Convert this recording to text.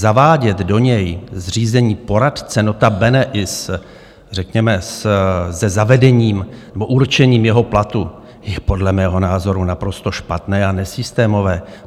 Zavádět do něj zřízení poradce, notabene i s řekněme se zavedením nebo určením jeho platu, je podle mého názoru naprosto špatné a nesystémové.